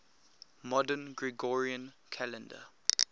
modern gregorian calendar